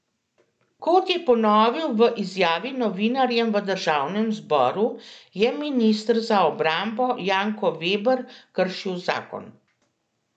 Kot je ponovil v izjavi novinarjem v državnem zboru, je minister za obrambo Janko Veber kršil zakon.